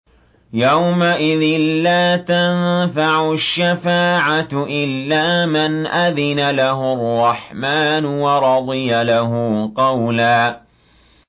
يَوْمَئِذٍ لَّا تَنفَعُ الشَّفَاعَةُ إِلَّا مَنْ أَذِنَ لَهُ الرَّحْمَٰنُ وَرَضِيَ لَهُ قَوْلًا